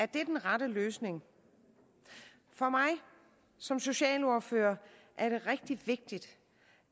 den rette løsning for mig som socialordfører er det rigtig vigtigt